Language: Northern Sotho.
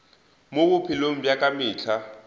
mo bophelong bja ka mehla